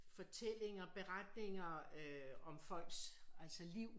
Fortællinger beretninger øh om folks altså liv